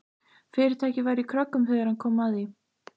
Fyrirtækið var í kröggum þegar hann kom að því.